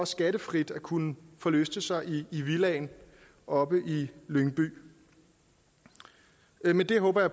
skattefrit at kunne forlyste sig i i villaen oppe i lyngby men det håber